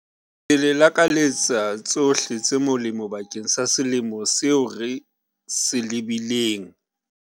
Ke le lakaletsa tshohle tse molemo bakeng sa selemo seo re se lebileng.